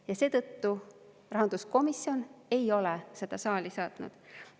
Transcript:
Ja seetõttu rahanduskomisjon ei ole seda saali saatnud.